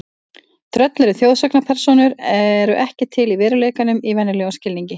Tröll eru þjóðsagnapersónur eru ekki til í veruleikanum í venjulegum skilningi.